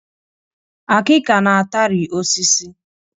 Akika na-atari osisi